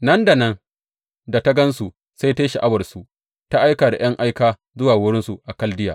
Nan da nan da ta gan su, sai ta yi sha’awarsu ta aika da ’yan aika zuwa wurinsu a Kaldiya.